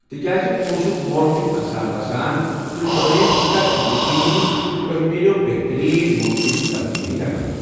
تِکیٛازِ پوٚنٛسُک مۄل چھُ کھسان وسان، تُہی بنٲیو یہِ کَتھ ییٚقیٖنی زِ تۄہہِ میٛلٮ۪و بہتریٖن ممکنہِ تبدیٖلی رقَم۔